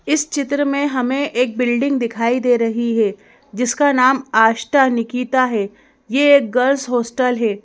इस चित्र में हमें एक बिल्डिंग दिखाई दे रही है जिसका नाम आष्टा निकिता है ये एक गर्ल्स हॉस्टल है।